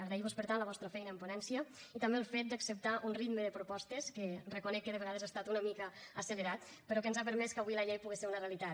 agrair vos per tant la vostra feina en ponència i també el fet d’acceptar un ritme de propostes que reconec que de vegades ha estat una mica accelerat però que ens ha permès que avui la llei pogués ser una realitat